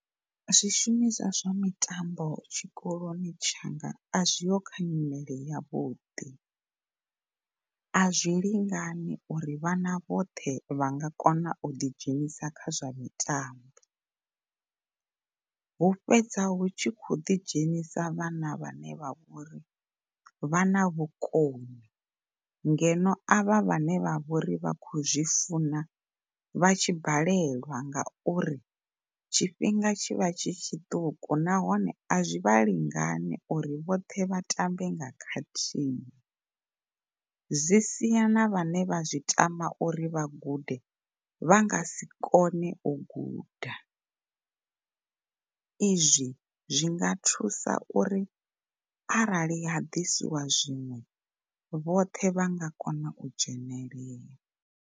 Zwi shumiswa zwa mitambo tshikoloni tshanga a zwiho kha nyimele yavhuḓi, a zwi lingani uri vhana vhoṱhe vha nga kona u ḓi dzhenisa khazwo mitambo. Hu fhedza hu tshi khou ḓi dzhenisa vhana vhane vha vha uri vha na vhukoni ngeno a vha vhane vho ri vha khou zwi funa vha tshi balelwa ngauri tshifhinga tshivha tshi tshiṱuku nahone a zwi vhali ngani uri vhoṱhe vhatambe nga khathihi. Zwi sia na vhane vha zwi tama uri vha gude vha nga si kone u guda. Izwi zwinga thusa uri arali ha ḓiswa zwiṅwe vhoṱhe vha nga kona u dzhenelela.